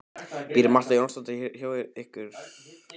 Býr Marta Jónasdóttir hér hjá ykkur?